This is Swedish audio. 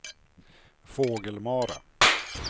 Fågelmara